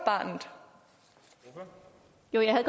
er det jo